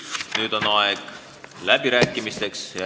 Nüüd on aeg läbirääkimisteks.